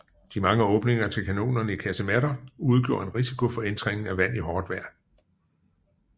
De mange åbninger til kanonerne i kasematter udgjorde en risiko for indtrængning af vand i hårdt vejr